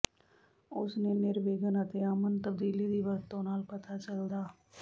ਉਸ ਨੇ ਨਿਰਵਿਘਨ ਅਤੇ ਅਮਨ ਤਬਦੀਲੀ ਦੀ ਵਰਤੋ ਨਾਲ ਪਤਾ ਚੱਲਦਾ